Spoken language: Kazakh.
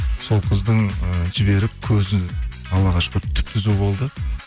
сол қыздың ыыы жіберіп көзі аллаға шүкір түп түзу болды